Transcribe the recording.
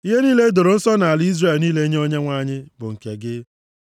“Ihe niile e doro nsọ nʼala Izrel niile nye Onyenwe anyị bụ nke gị.